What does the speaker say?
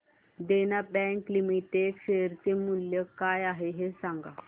देना Bank Limited share चे मूल्य काय आहे हे सांगा